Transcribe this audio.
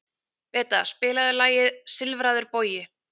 Beta, spilaðu lagið „Silfraður bogi“.